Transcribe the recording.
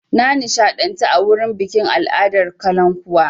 Na nishaɗantu a wurin bikin al'adar kalankuwa.